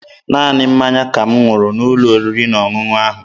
Naanị mmanya ka m ṅụrụ n'ụlọ oriri na ọṅụṅụ ahụ.